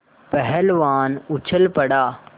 पहलवान उछल पड़ा